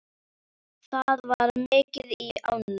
Það var mikið í ánni.